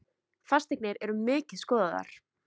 Fasteignir eru mikið skoðaðar